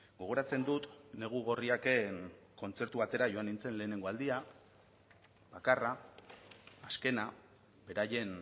gogoratzen dut negu gorriaken kontzertu batera joan nintzen lehenengo aldia bakarra azkena beraien